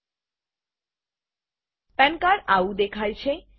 પાન cardપેન કાર્ડ આવું દેખાય છે